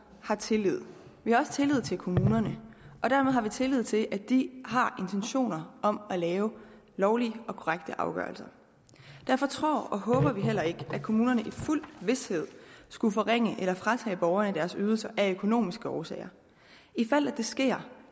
har tillid vi har også tillid til kommunerne og dermed har vi tillid til at de har intentioner om at lave lovlige og korrekte afgørelser derfor tror og håber vi heller ikke at kommunerne i fuld vished skulle forringe eller fratage borgerne deres ydelser af økonomiske årsager i fald det sker